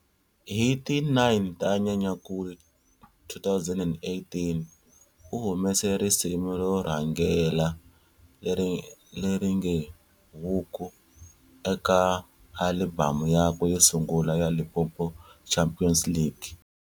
Hi ti 9 ta Nyenyankulu, 2018, u humese risimu ro rhangela leringe"Huku" eka alibhamu yakwe yo sungula ya"Limpopo Champions League".